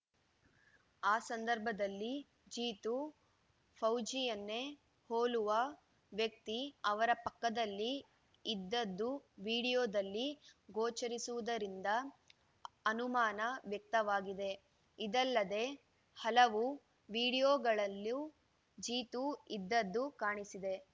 ಆ ಸಂದರ್ಭದಲ್ಲಿ ಜೀತು ಫೌಜಿಯನ್ನೇ ಹೋಲುವ ವ್ಯಕ್ತಿ ಅವರ ಪಕ್ಕದಲ್ಲಿ ಇದ್ದದ್ದು ವಿಡಿಯೋದಲ್ಲಿ ಗೋಚರಿಸುವುದರಿಂದ ಅನುಮಾನ ವ್ಯಕ್ತವಾಗಿದೆ ಇದಲ್ಲದೆ ಹಲವು ವಿಡಿಯೋಗಳಲ್ಲೂ ಜೀತು ಇದ್ದದ್ದು ಕಾಣಿಸಿದೆ